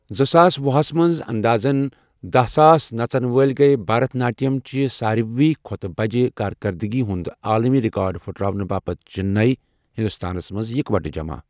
زٕ ساس وُہس منٛز اندازن داہ ساس نژن وٲلۍ گیہٕ بھرت ناٹیم چہِ سارۍوٕے کھۄتہٕ بجہ کارکردگی ہُند عالمی رِکارڑ پھٕٹراونہٕ باپتھ چِننے، ہِندوستانس منٛز اِکوٹہٕ جمع۔